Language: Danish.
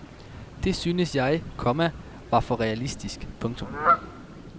Det syntes jeg, komma var for realistisk. punktum